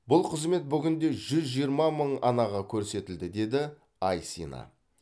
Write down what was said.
бұл қызмет бүгінде жүз жиырма мың анаға көрсетілді деді айсина